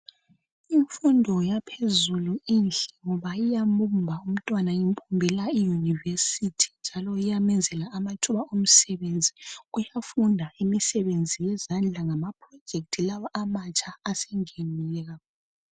Imfundo yaphezulu inhle ngoba iyambumba umntwana imbumbela iyunivesithi njalo iyamenzela amathuba imisebenzi yokufunda imisebenzi yezandla ngama pirojekhithi lawa amatsha asengenile.